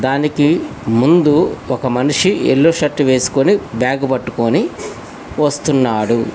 దానికి ముందు ఒక మనిషి ఎల్లో షర్ట్ వేసుకుని బ్యాగ్ పట్టుకొని వస్తున్నాడు.